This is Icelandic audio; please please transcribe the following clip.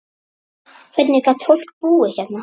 Hvernig gat fólk búið hérna?